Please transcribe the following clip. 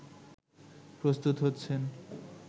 প্রস্তুত হচ্ছেন